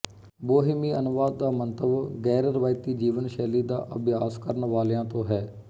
ਬੋਹੀਮੀਅਨਵਾਦ ਦਾ ਮੰਤਵ ਗੈਰਰਵਾਇਤੀ ਜੀਵਨ ਸ਼ੈਲੀ ਦਾ ਅਭਿਆਸ ਕਰਨ ਵਾਲਿਆਂ ਤੋਂ ਹੈ